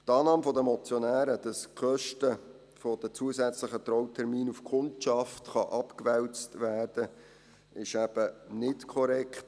Die Annahme der Motionäre, dass die Kosten der zusätzlichen Trautermine auf die Kundschaft abgewälzt werden könne, ist eben nicht korrekt.